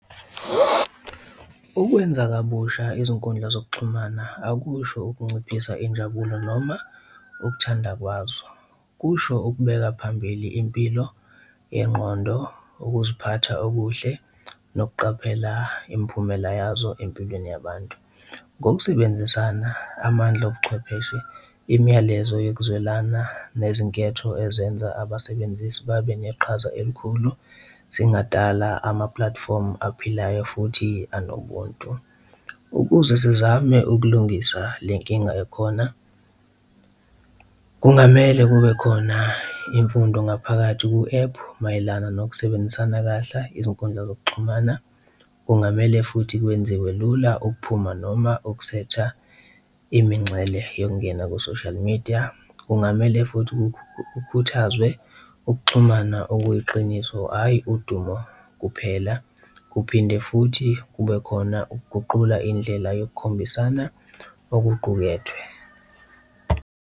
Ukwenza kabusha izinkundla zokuxhumana akusho ukunciphisa injabulo noma ukuthanda kwazo. Kusho ukubeka phambili impilo yengqondo, ukuziphatha okuhle nokuqaphela imiphumela yazo empilweni yabantu. Ngokusebenzisana amandla obuchwepheshe, imiyalezo yokuzwelana nezinketho ezenza abasebenzisi babe neqhaza elikhulu zingadala ama-platform aphilayo futhi anobuntu. Ukuze sizame ukulungisa le nkinga ekhona, kungamele kube khona imfundo ngaphakathi ku-ephu mayelana nokusebenzisana kahla izinkundla zokuxhumana. Kungamele futhi kwenziwe lula ukuphuma noma ukusetha imingcele yokungena ku-social media. Kungamele futhi kukhuthazwe ukuxhumana okuyiqiniso, hhayi udumo kuphela. Kuphinde futhi kube khona ukuguqula indlela yokukhombisana okuqukethwe.